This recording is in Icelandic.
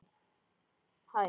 Í skúrnum heima.